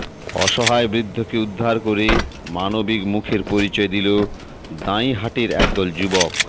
অসহায় বৃদ্ধকে উদ্ধার করে মানবিক মুখের পরিচয় দিল দাঁইহাটের একদল যুবক